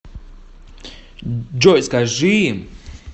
джой скажи им